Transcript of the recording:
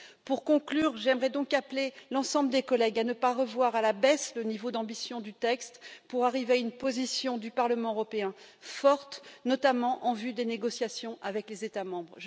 Pour conclure j'aimerais donc appeler l'ensemble des collègues à ne pas revoir à la baisse le niveau d'ambition du texte pour arriver à une position du Parlement européen forte, notamment en vue des négociations avec les États membres.